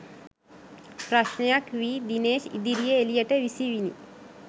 ප්‍රශ්නයක් වී දිනේෂ් ඉදිරියේ එලියට විසිවිණි